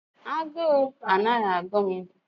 A guu anaghị agụ m